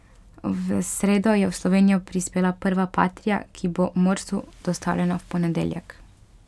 V sredo je v Slovenijo prispela prva patria, ki bo Morsu dostavljena v ponedeljek.